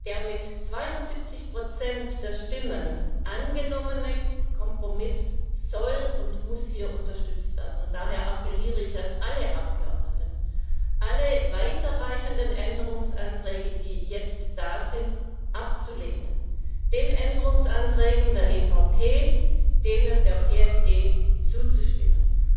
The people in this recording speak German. Der mit 72 der Stimmen angenommene Kompromiss soll und muss hier unterstützt werden. Daher appelliere ich an alle Abgeordneten, alle weiterreichenden Änderungsanträge, die eingereicht wurden, abzulehnen und den Änderungsanträgen der EVP und der PSE zuzustimmen.